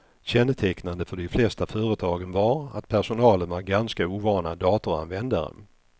Kännetecknande för de flesta företagen var att personalen var ganska ovana datoranvändare.